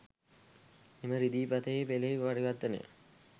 එම රිදී පතෙහි පෙළෙහි පරිවර්තනය